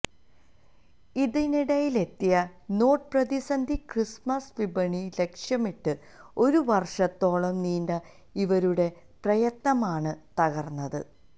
ഇതിനിടയിലെത്തിയ note പ്രതിസന്ധി Christmas വിപണി ലക്ഷ്യമിട്ട് ഒരു വര്ഷത്തോളം നീണ്ട ഇവരുടെ പ്രയത്നമാണ് തകര്ന്നത്